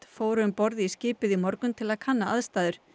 fóru um borð í skipið í morgun til að kanna aðstæður